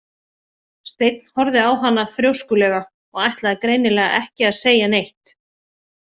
Steinn horfði á hana þrjóskulega og ætlaði greinilega ekki að segja neitt.